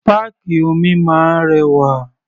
Páàkì omi máa ń rẹwà.